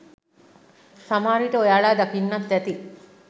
සමහරවිට ඔයාලා දකින්නත් ඇති.